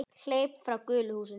Hleyp frá gulu húsinu.